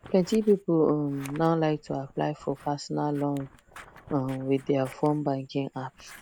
plenty people um now like to apply for personal loan um with their fone banking apps